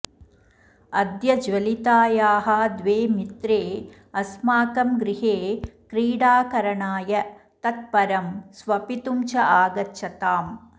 अद्य ज्वलितायाः द्वे मित्रे अस्माकं गृहे क्रीडाकरणाय तत् परं स्वपितुं च आगच्छताम्